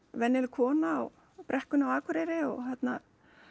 venjuleg kona á brekkunni á Akureyri og hérna